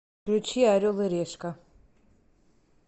включи орел и решка